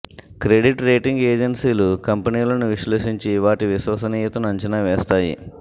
credit rating ఏజెన్సీలు కంపెనీలను విశ్లేషించి వాటి విశ్వసనీయతను అంచనా వేస్తాయి